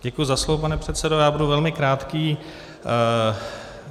Děkuji za slovo, pane předsedo, já budu velmi krátký.